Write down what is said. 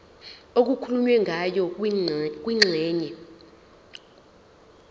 okukhulunywe ngayo kwingxenye